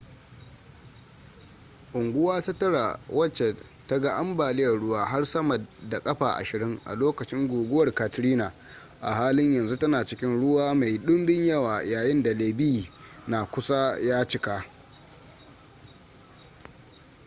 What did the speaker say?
unguwa ta tara wacce ta ga ambaliyar ruwa har sama da ƙafa 20 a lokacin guguwar katrina a halin yanzu tana cikin ruwa mai ɗumbin yawa yayin da levee na kusa ya cika